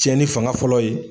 Cɛnni fanga fɔlɔ ye